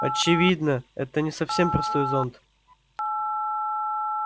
очевидно это не совсем простой зонт